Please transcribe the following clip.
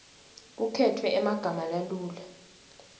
kukhetfwe emagama lalula